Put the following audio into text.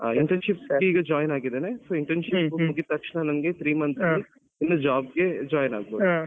Intenship ಗೆ ಈಗ join ಆಗಿದೇನೇ so internship ಮುಗಿದ್ ತಕ್ಷಣ three months ಅಲ್ಲಿ ನಾನು job ಗೆ join ಆಗ್ಬೋದು.